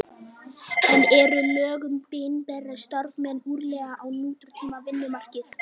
En eru lög um opinbera starfsmenn úrelt á nútíma vinnumarkaði?